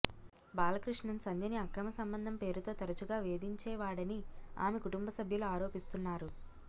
బాలకృష్ణన్ సంధ్యని అక్రమ సంబంధం పేరుతో తరచుగా వేధించేవాడని ఆమె కుటుంబ సభ్యులు ఆరోపిస్తున్నారు